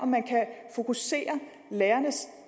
man kan fokusere lærernes